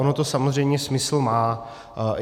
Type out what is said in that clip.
Ono to samozřejmě smysl má.